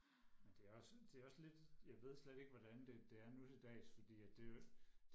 men det er jo sådan det er også lidt jeg ved slet ikke hvordan det det er nu til dags fordi at det er jo